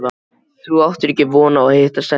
Þú áttir ekki von á að hitta stelpuna.